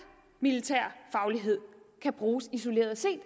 militær faglighed kan bruges isoleret set